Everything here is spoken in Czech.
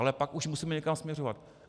Ale pak už musíme někam směřovat.